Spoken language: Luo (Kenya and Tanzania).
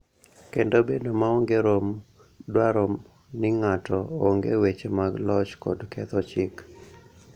Kendo bedo maonge rom dwaro ni ng�ato ong�e weche mag loch kod ketho chik.